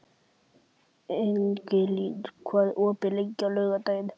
Ingilín, hvað er opið lengi á laugardaginn?